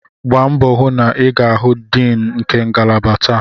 Gbaa mbọ hụ na ị ga-ahụ Dean nke ngalaba taa!